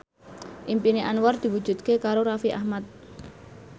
impine Anwar diwujudke karo Raffi Ahmad